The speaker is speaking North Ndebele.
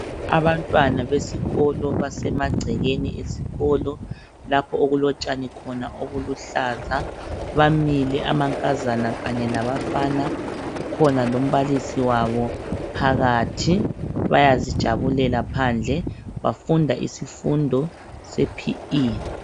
Abantwana besikolo basemagcekeni esikolo lapho okulotshani khona obuluhlaza .Bamile amankazana kanye labafana kukhona lombalisi wabo phakathi bayazijabulela phandle bafunda isifundo sePE.